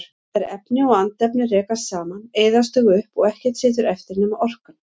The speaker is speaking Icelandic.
Þegar efni og andefni rekast saman eyðast þau upp og ekkert situr eftir nema orkan.